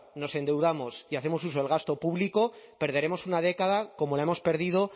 nos endeudamos y hacemos uso del gasto público perderemos una década como la hemos perdido